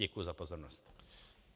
Děkuji za pozornost.